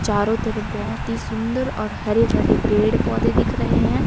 चारों तरफ बहोत ही सुंदर और हरे भरे पेड़ पौधे दिख रहें हैं।